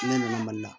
Ne nana mali la